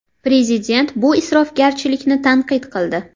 Prezident bu isrofgarchilikni tanqid qildi.